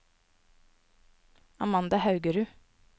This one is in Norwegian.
Amanda Haugerud